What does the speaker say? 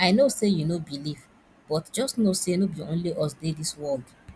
i no say you no believe but just know say no be only us dey dis world